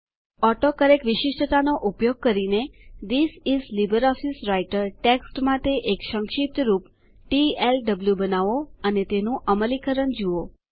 autocorrect વિશિષ્ટતાનો ઉપયોગ કરીને this is LibreOffice Writer text માટે એક સંક્ષિપ્ત રૂપ ટીએલડબ્લુ બનાવો અને તેનું અમલીકરણ જુઓ